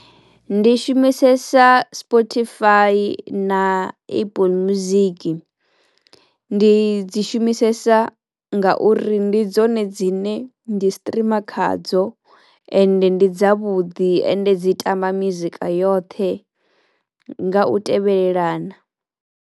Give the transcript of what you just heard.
Ndi shumisesa Spotify na apple music. Ndi dzi shumisesa nga uri ndi dzone dzine ndi streamer khadzo ende ndi dza vhuḓi ende dzi tamba mizika yoṱhe nga u tevhelelana.